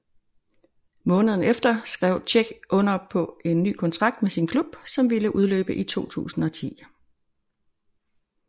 Måneden efter skrev Čech under på en ny kontrakt med sin klub som ville udløbe i 2010